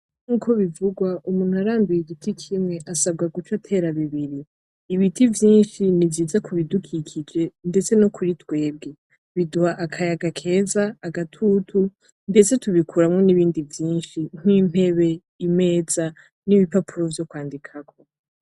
Nkuko bivurwa umuntu aranduye igiti kimwe asabwa guca atera bibiri, Ibiti byishi ni byiza kubidukikije ndetse no kuri twebwe biduha akayaga keza, agatutu ndetse tubikuramwo nibindi vyishi nk’ntebe, imeza n’ipapuro vyokwandikako